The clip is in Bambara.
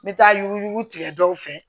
N bɛ taa yuguyugu tigɛ dɔw fɛ